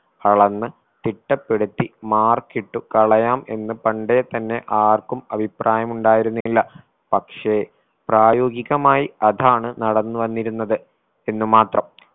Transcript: അളന്ന് തിട്ടപ്പെടുത്തി mark ഇട്ടു കളയാം എന്ന് പണ്ടേ തന്നെ ആർക്കും അഭിപ്രായമുണ്ടയിരുന്നില്ല പക്ഷെ പ്രായോഗികമായി അതാണ് നടന്നു വന്നിരുന്നത് എന്നു മാത്രം.